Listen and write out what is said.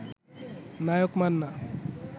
Naik Manna